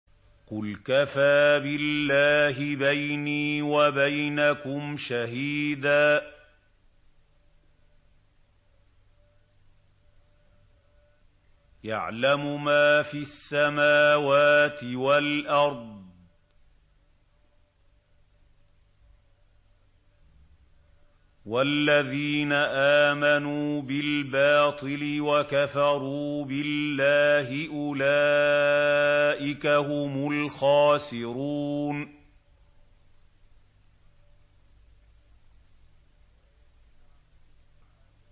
قُلْ كَفَىٰ بِاللَّهِ بَيْنِي وَبَيْنَكُمْ شَهِيدًا ۖ يَعْلَمُ مَا فِي السَّمَاوَاتِ وَالْأَرْضِ ۗ وَالَّذِينَ آمَنُوا بِالْبَاطِلِ وَكَفَرُوا بِاللَّهِ أُولَٰئِكَ هُمُ الْخَاسِرُونَ